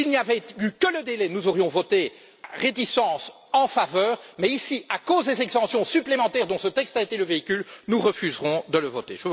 S'il n'y avait eu que le délai, nous aurions voté, avec réticence, en faveur, mais à cause des exemptions supplémentaires dont ce texte a été le véhicule, nous refuserons de le voter.